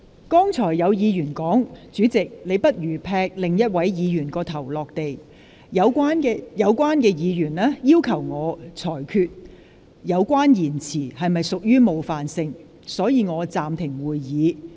剛才有議員說，"主席，你不如劈另一位議員的頭落地"。有關議員要求我裁決有關言詞是否屬冒犯性，所以我暫停會議。